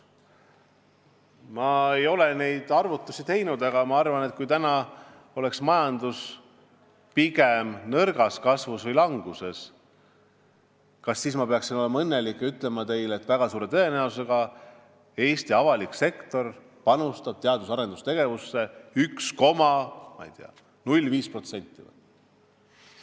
Ma ei ole neid arvutusi teinud, aga kui majanduskasv oleks nõrk või majandus oleks languses, kas ma siis peaksin olema õnnelik ja ütlema teile, et väga suure tõenäosusega Eesti avalik sektor panustab teadus- ja arendustegevusse, ma ei tea, vist 1,05%?